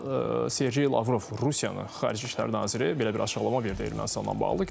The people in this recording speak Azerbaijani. Amma Sergey Lavrov Rusiyanın Xarici İşlər naziri belə bir açıqlama verdi Ermənistanla bağlı.